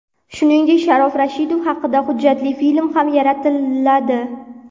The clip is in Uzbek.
Shuningdek, Sharof Rashidov haqida hujjatli film ham yaratiladi.